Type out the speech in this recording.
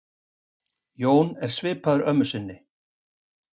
Jón er svipaður mömmu sinni.